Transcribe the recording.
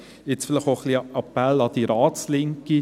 Jetzt vielleicht auch ein wenig ein Appell an die Ratslinke.